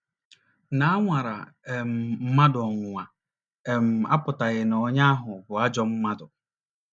Na a nwara um mmadụ ọnwụnwa um apụtaghị na onye ahụ bụ ajọ mmadụ.